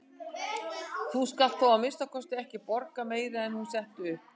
Þú skalt þó að minnsta kosti ekki borga meira en hún setti upp.